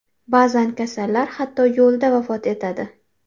Ba’zan kasallar hatto yo‘lda vafot etadi.